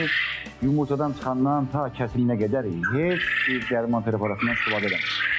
Biz bunu yumurtadan çıxandan ta kəsiminə qədər heç bir dərman preparatından istifadə eləmirik.